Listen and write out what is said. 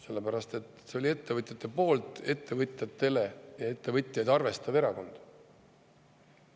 Sellepärast et see oli ettevõtjate poolt, ettevõtjatele ja ettevõtjaid arvestav erakond.